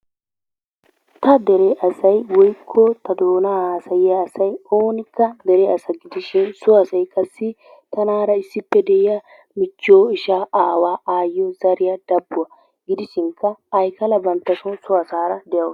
Ta dere asay woikko ta doona hasayiya asay oonnikka dere asa gidishiin so asay qasdi tanaara issippe de'iya michchiyoo, ishshaa ,aawaa ,ayyiyo zariya, dabbuwa gidishinkka aykala banttaso so asaara de'awusu.